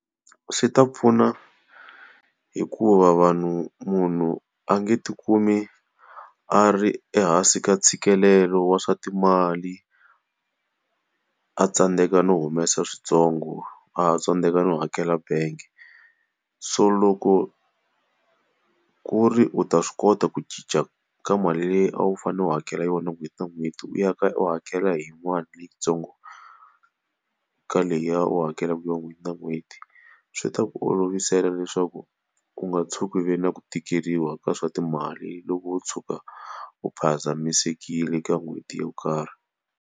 Swi ta pfuna hikuva vanhu munhu a nga ti kumi a ri ehansi ka ntshikelelo wa swa timali, a tsandzeka no humesa swintsongo, a tsandzeka ndzi hakela bangi. So loko ku ri u ta swi kota ku cinca ka mali leyi a wu fanele u hakela yona n'hweti na n'hweti u ya ka u hakela hi yin'wana leyintsongo ka leyiya u hakelaka ya n'hweti na n'hweti, swi ta ku olovisela leswaku u nga tshuki u ve na ku tikeriwa ka swa timali loko u tshuka u phazamisekile ka n'hweti yo karhi.